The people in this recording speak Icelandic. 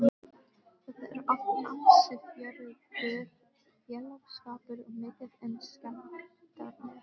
Þetta er oft ansi fjörugur félagsskapur og mikið um skemmtanir.